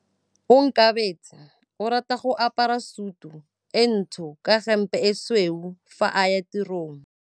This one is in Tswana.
Onkabetse o rata go apara sutu e ntsho ka hempe e tshweu fa a ya tirong.